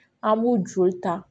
An b'u joli ta